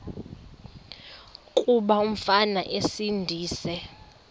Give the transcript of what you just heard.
kuba umfana esindise